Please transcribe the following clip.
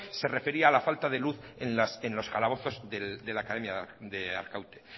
se refería a la falta de luz en los calabozos de la academia de arkaute